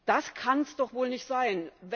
Das kann es doch wohl nicht sein!